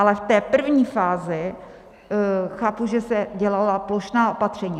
Ale v té první fázi chápu, že se dělala plošná opatření.